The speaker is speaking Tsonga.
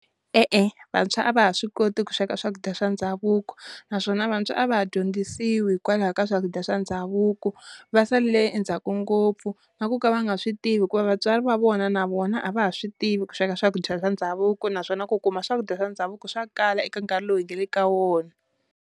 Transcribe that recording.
E-e vantshwa a va ha swi koti ku sweka swakudya swa ndhavuko naswona vantshwa a va ha dyondzisiwi hikwalaho ka swakudya swa ndhavuko, va salele endzhaku ngopfu na ku ka va nga swi tivi ku va vatswari va vona na vona a va ha swi tivi ku sweka swakudya swa ndhavuko, naswona ku kuma swakudya swa ndhavuko swa kala eka nkarhi lowu hi nga le ka wona.